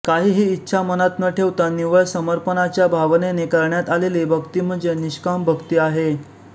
काहीही इच्छा मनात न ठेवता निव्वळ समर्पणाच्या भावनेने करण्यात आलेली भक्ती म्हणजे निष्काम भक्ती आहे